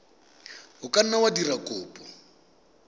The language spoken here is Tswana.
ka nna wa dira kopo